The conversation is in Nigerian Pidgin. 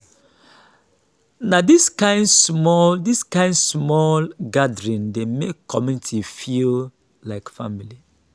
na dis kain small dis kain small gathering dey make community feel like family.